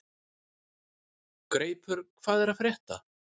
Greipur, hvað er að frétta?